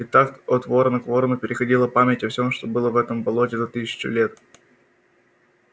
и так от ворона к ворону переходила память о всём что было в этом болоте за тысячу лет